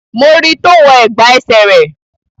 Mo ri tó wọ ẹ̀gbà ẹsẹ̀ rẹ̀